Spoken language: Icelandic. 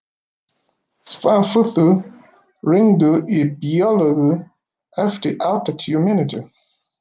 Svanþrúður, hringdu í Björnlaugu eftir áttatíu mínútur.